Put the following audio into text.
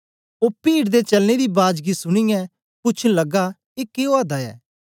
ओ पीड दे चलने दी बाज गी सुनीयै पूछन लगा ए के ओआ दा ऐ